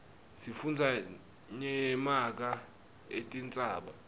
sifundza nyemaga etintsaba